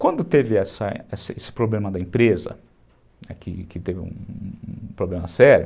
Quando teve essa esse problema da empresa, que teve um problema sério,